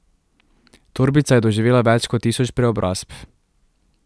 Torbica je doživela več kot tisoč preobrazb.